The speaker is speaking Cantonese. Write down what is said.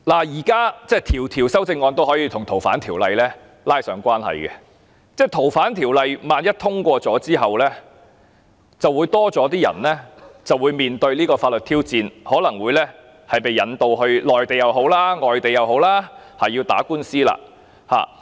現時每項修正案也可以跟《逃犯條例》拉上關係，萬一《2019年逃犯及刑事事宜相互法律協助法例條例草案》獲得通過，便會有更多人面對法律挑戰，可能會被引渡至內地或外地打官司。